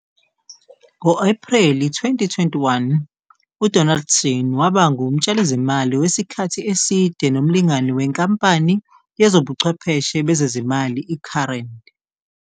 Ngo-Ephreli 2021, uDonaldson waba ngumtshalizimali wesikhathi eside nomlingani wenkampani yezobuchwepheshe bezezimali i-Current.